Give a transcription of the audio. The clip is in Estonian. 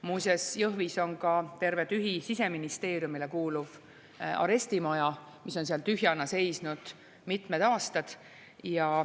Muuseas, Jõhvis on tühi ka terve Siseministeeriumile kuuluv arestimaja, mis on seal tühjana seisnud mitmed aastad.